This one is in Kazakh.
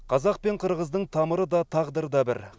қазақ пен қырғыздың тамыры да тағдыры да бір